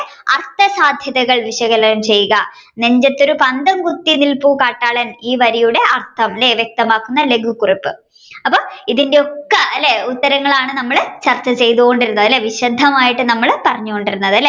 അർത്ഥസാധ്യതകൾ വിശകലനം ചെയ്യുക നെഞ്ചത്തൊരു പന്തം കുത്തി നിൽപ്പു കാട്ടാളൻ ഈ വരിയുടെ അർഥം അല്ലെ വ്യക്തമാക്കുന്ന ലഘു കുറിപ്പ് അപ്പൊ ഇതിന്റെ ഒക്കെ ഉത്തരങ്ങളാണ് അല്ലെ നമ്മൾ ചർച്ചചെയ്തോണ്ടിരുന്നത് വിശദമായിട്ട് നമ്മൾ പറഞ്ഞോണ്ടിരുന്നത് അല്ലെ